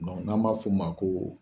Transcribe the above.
n'an b'a fɔ o ma ko